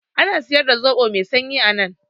Ana siyar da zoɓo mai sanyi anan?